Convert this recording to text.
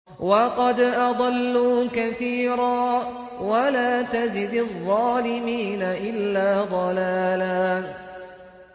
وَقَدْ أَضَلُّوا كَثِيرًا ۖ وَلَا تَزِدِ الظَّالِمِينَ إِلَّا ضَلَالًا